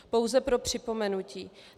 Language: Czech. Pouze pro připomenutí.